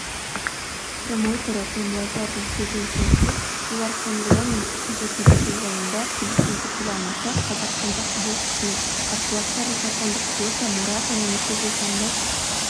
промоутері том леффлердің сөзіне сүйенсек олар канеломен үшінші кездесу жайында келісімге келе алмаса қазақстандық боксшының қарсыластары жапондық риота мурата немесе британдық